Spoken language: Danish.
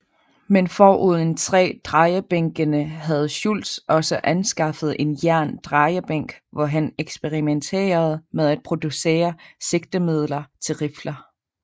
Men foruden træ drejebænkene havde Schultz også anskaffet en jern drejebænk hvor han eksperimenterede med at producere sigtemidler til rifler